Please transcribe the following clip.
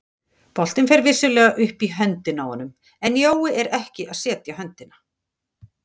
Boltinn fer vissulega upp í höndina á honum en Jói er ekki að setja höndina.